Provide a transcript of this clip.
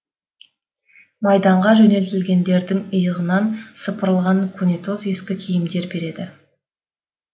майданға жөнелтілгендердің иығынан сыпырылған көнетоз ескі киімдер береді